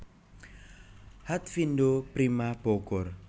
Hatfindo Prima Bogor